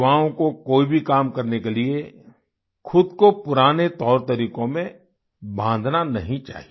युवाओं को कोई भी काम करने के लिये खुद को पुराने तौर तरीकों में बांधना नहीं चाहिए